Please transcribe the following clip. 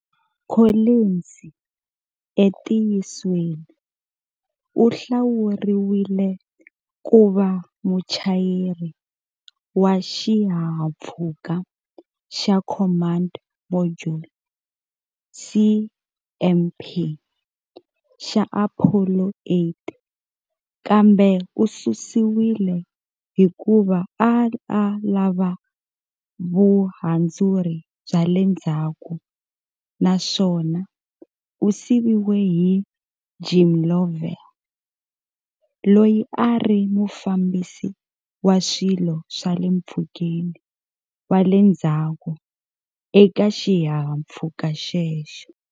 Collins entiyisweni u hlawuriwile ku va muchayeri wa xihahampfhuka xa Command Module, CMP, xa Apollo 8 kambe u susiwile hikuva a a lava vuhandzuri bya le ndzhaku naswona u siviwe hi Jim Lovell, loyi a ri mufambisi wa swilo swa le mpfhukeni wa le ndzhaku eka xihahampfhuka xexo.